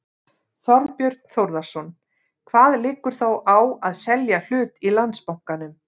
Þorbjörn Þórðarson: Hvað liggur þá á að selja hlut í Landsbankanum?